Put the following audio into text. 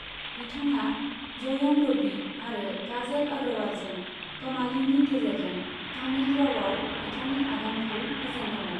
बिथांआ जयम रबि आरो काजल अग्रवालजों क'मालीनि गेजेरजों तामिल रावाव बिथांनि आगानखौ होजेनदोंमोन।